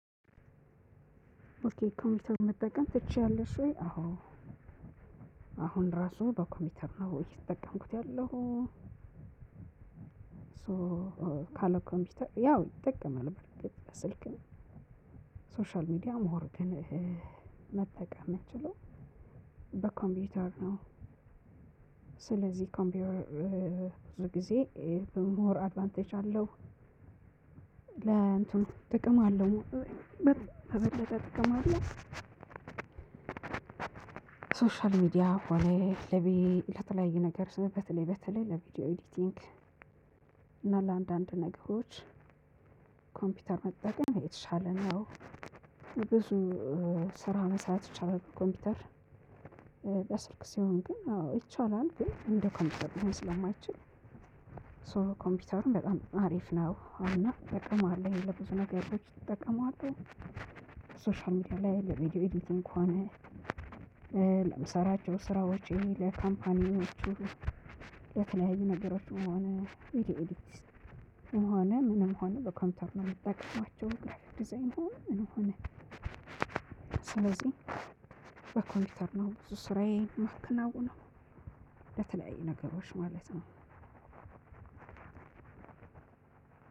ኦኬ ኮምፒውተር መጠቀም ትችያለሽ ወይ? አዎ አሁን ራሱ በኮምፒውተር ነው እየተጠቀምኩት ያለው። ሶ ካለ ኮምፒውተር ያው እጠቀማለሁ። በርግጥ በስልክም ሶሻል ሚዲያ ሞር ግን እ መጠቀም ምችለው በኮምፒውተር ነው። ስለዚህ ኮምፒውተር እ እ ብዙ ጊዜ ሞር አድቫንቴጅ አለው። ለእንትኑ ጥቅም አለው። በበለጠ ጥቅም አለው። ሶሻል ሚዲያ ሆነህ ለቤት ለተለያየ ነገር ስምህ በተለይ በተለይ ለቪዲዮ ኤዲቲንግ እና ለአንዳንድ ነገሮች ኮምፒውተር መጠቀም የተሻለ ነው። ብዙ ስራ መስራት የቻለው ኮምፒውተር በስልክ ሲሆን ግን አዎ ይቻላል። ግን እንደ ኮምፒውተር ስለማይችል ሶ ኮምፒውተሩን በጣም አሪፍ ነው እና ጠቅመዋለሁ ለብዙ ነገሮች እጠቀማለሁ። ሚዲያ ላይ ለቪዲዮ ኤዲቲንግ ከሆነ። ለምሰራቸው ስራ ወጪ ለካምፓኒዎቹ የተለያዩ ነገሮች የሆነ ቪዲዮ ኤዲት የሆነ ምንም ሆነ በኮምፒውተር ነው የምትጠቀማቸው ዲዛይን መሆን ምን ሆነ። ስለዚህ በኮምፒውተር ነው ብዙ ስራዬን እማከናውነው ነው። ለተለያዩ ነገሮች ማለት ነው።